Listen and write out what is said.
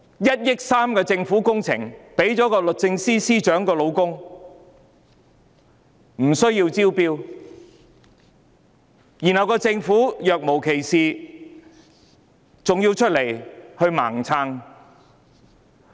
1億 3,000 萬元的政府工程無須招標便批予律政司司長的丈夫，政府還要若無其事，出來"盲撐"。